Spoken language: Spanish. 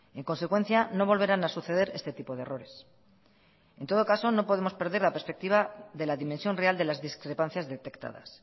en consecuencia no volverán a suceder este tipo de errores en todo caso no podemos perder la perspectiva de la dimensión real de las discrepancias detectadas